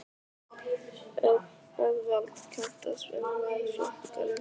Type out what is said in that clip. Eðvald, kanntu að spila lagið „Flakkarinn“?